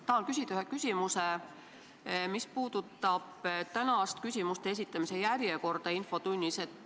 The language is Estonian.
Tahan küsida ühe küsimuse, mis puudutab tänast küsimuste esitamise järjekorda infotunnis.